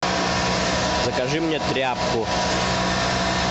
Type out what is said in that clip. закажи мне тряпку